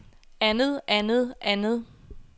andet andet andet